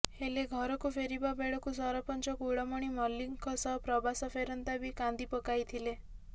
ହେଲେ ଘରକୁ ଫେରିବା ବେଳକୁ ସରପଞ୍ଚ କୁଳମଣି ମଲ୍ଲିକଙ୍କ ସହ ପ୍ରବାସ ଫେରନ୍ତା ବି କାନ୍ଦି ପକାଇଥିଲେ